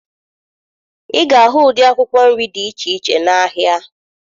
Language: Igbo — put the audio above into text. Ị ga-ahụ ụdị akwụkwọ nri dị iche iche n'ahịa